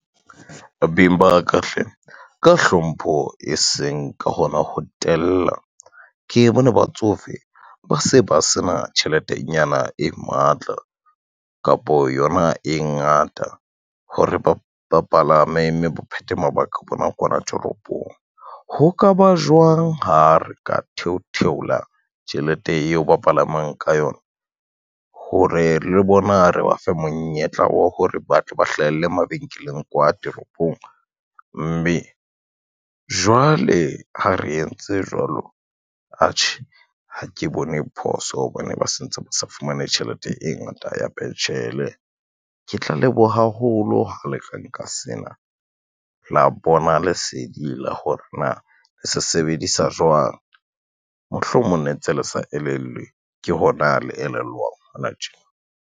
Beng ba ka hle ka hlompho e seng ka hona ho tella ke bone batsofe ba se ba sena tjheletenyana e matla, kapo yona e ngata hore ba palame, mme ba phethe mabaka a bona kwana toropong. Ho ka ba jwang ha re ka theo theola tjhelete eo ba palamang ka yona, hore le bona re ba fe monyetla wa hore ba tle ba hlahelle mabenkeleng kwa toropong, mme jwale ha re entse jwalo, atjhe ha ke bone phoso hobane ba se ntse ba sa fumane tjhelete e ngata ya pentjhele. Ke tla leboha haholo ha le ka nka sena la bona lesedi la hore na le se sebedisa jwang, mohlomong ne ntse le sa elellwe ke hona le elellwang hona tje.